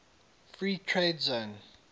free trade zone